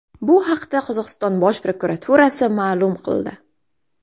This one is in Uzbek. Bu haqda Qozog‘iston bosh prokuraturasi ma’lum qildi .